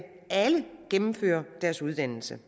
alle gennemfører deres uddannelse